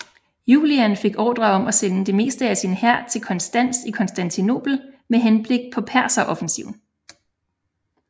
Julian fik ordre om at sende det meste af sin hær til Konstans i Konstantinopel med henblik på perseroffensiven